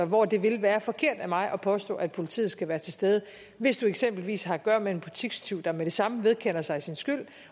hvor det vil være forkert af mig at påstå at politiet skal være til stede hvis du eksempelvis har at gøre med en butikstyv der med det samme vedkender sig sin skyld